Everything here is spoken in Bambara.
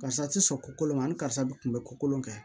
Karisa ti sɔn ko kolo ma ni karisa bɛ kun bɛ ko kolon kɛ